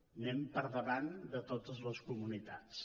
anem per davant de totes les comunitats